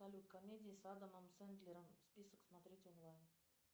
салют комедии с адамом сендлером список смотреть онлайн